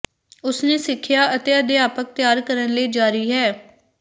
ਉਸ ਨੇ ਸਿੱਖਿਆ ਅਤੇ ਅਧਿਆਪਕ ਤਿਆਰ ਕਰਨ ਲਈ ਜਾਰੀ ਹੈ